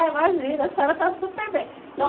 Imagina, a senhora está super bem. Não